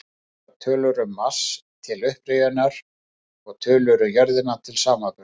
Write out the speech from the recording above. Nokkrar tölur um Mars, til upprifjunar, og tölur um jörðina til samanburðar: